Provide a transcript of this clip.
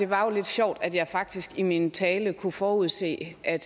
var lidt sjovt at jeg faktisk i min tale kunne forudse at